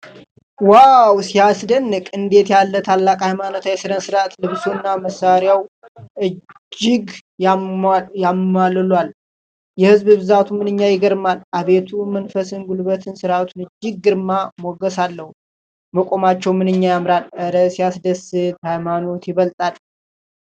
ዋው ሲያስደንቅ! እንዴት ያለ ታላቅ ሃይማኖታዊ ሥነ-ሥርዓት! ልብሱና መሣሪያው እጅግ ያማልላሉ። የሕዝቡ ብዛት ምንኛ ይገርማል! አቤት መንፈሳዊ ጉልበት! ሥርዓቱ እጅግ ግርማ ሞገስ አለው። መቆማቸው ምንኛ ያምራል! እረ ሲያስደስት! ሃይማኖት ይበልጣል!